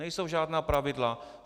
Nejsou žádná pravidla.